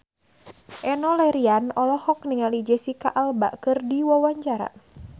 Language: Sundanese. Enno Lerian olohok ningali Jesicca Alba keur diwawancara